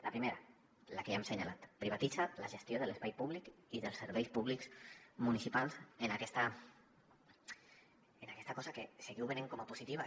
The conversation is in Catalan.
la primera la que ja hem assenyalat privatitza la gestió de l’espai públic i dels serveis públics municipals en aquesta cosa que seguiu venent com a positiva